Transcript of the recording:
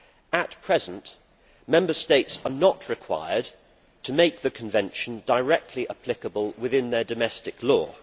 At present, Member States are not required to make the convention directly applicable within their domestic law.